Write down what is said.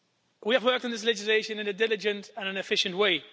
We have worked on this legislation in a diligent and efficient way.